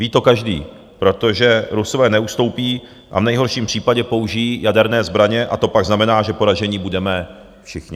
Ví to každý, protože Rusové neustoupí a v nejhorším případě použijí jaderné zbraně, a to pak znamená, že poraženi budeme všichni.